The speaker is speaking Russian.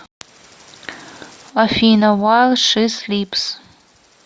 афина вайл ши слипс